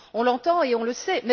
On l'entend et on le sait.